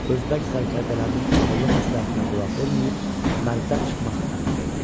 Özbək sərdərlərinin ağıllı məsləhətinə qulaq verməyib, mərdən çıxmaq əmri verdi.